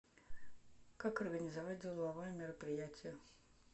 как организовать деловое мероприятие